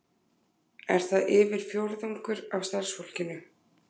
Er það yfir fjórðungur af starfsfólkinu